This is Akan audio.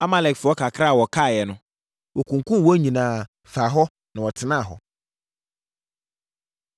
Amalekfoɔ kakra a wɔkaeɛ no, wɔkunkumm wɔn nyinaa, faa hɔ, na wɔtenaa hɔ.